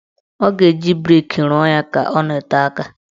Ọ ga-eji brik ruọ ya ka ọ nọtee aka.